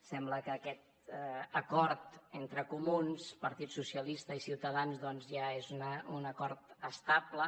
sembla que aquest acord entre comuns partit socialista i ciutadans doncs ja és un acord estable